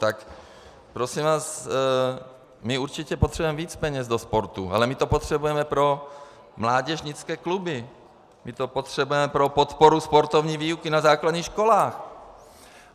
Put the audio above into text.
Tak prosím vás, my určitě potřebujeme víc peněz do sportu, ale my to potřebujeme pro mládežnické kluby, my to potřebujeme pro podporu sportovní výuky na základních školách.